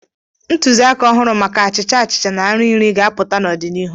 Ntụziaka ọhụrụ maka achịcha achịcha na nri nri ga-apụta n'ọdịnihu.